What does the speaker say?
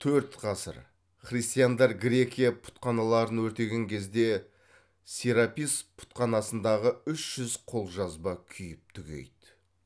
төрт ғасыр христандар грекия пұтханаларын өртеген кезде серапис пұтханасындағы үш жүз қолжазба күйіп түгейді